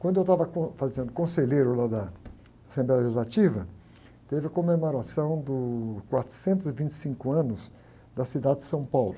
Quando eu estava com, fazendo conselheiro lá da Assembleia Legislativa, teve a comemoração dos quatrocentos e vinte e cinco anos da cidade de São Paulo.